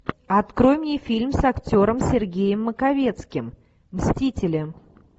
открой мне фильм с актером сергеем маковецким мстители